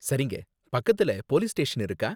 சரிங்க, பக்கத்துல police station இருக்கா?